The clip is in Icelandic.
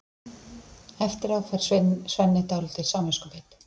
Eftir á fær Svenni dálítið samviskubit.